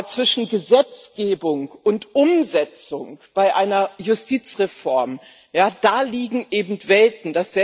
Aber zwischen Gesetzgebung und Umsetzung bei einer Justizreform, da liegen Welten.